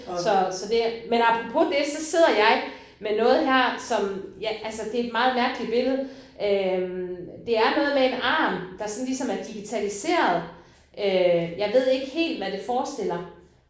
Så så det men apropos det så sidder jeg med noget her som ja altså det et meget mærkeligt billede øh det er noget med en arm der sådan ligesom er digitaliseret øh jeg ved ikke helt hvad det forestiller